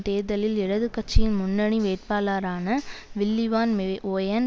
தேர்தலில் இடதுகட்சியின் முன்னணி வேட்பாளரான வில்லி வான் வெ வோயன்